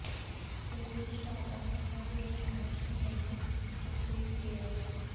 ਚੋਰੀ ਦੀ ਤਾਜ਼ਾ ਘਟਨਾ ਗੁਰੁ ਨਾਨਕ ਕਾਲੋਨੀ ਪੱਟੀ ਵਿਖੇ ਐਸ